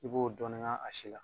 I b'o dɔɔnin ŋ'a a si la.